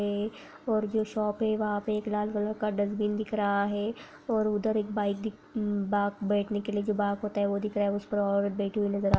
ये और जो शॉप है वहा पे एक लाल कलर का डस्टबिन दिख रहा है ये और उधर एक बाइक दिख बाक जो बैठने के लिए जो बाक होता है। वो दि दिख रहा है उस पर औरत बैठी हुई नजर अ रही--